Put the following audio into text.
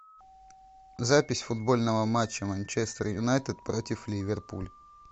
запись футбольного матча манчестер юнайтед против ливерпуль